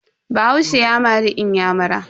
Bahaushe ya mari inyamura.